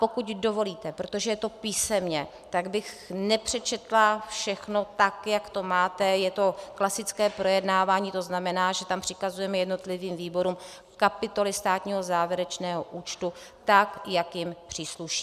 Pokud dovolíte, protože je to písemně, tak bych nepřečetla všechno tak, jak to máte, je to klasické projednávání, to znamená, že tam přikazujeme jednotlivým výborům kapitoly státního závěrečného účtu tak, jak jim přísluší.